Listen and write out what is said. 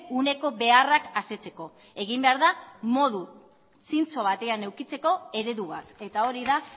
uneko beharrak asetzeko egin behar da modu zintzo batean edukitzeko eredu bat eta hori da